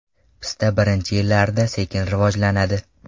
Pista birinchi yillarda, sekin rivojlanadi.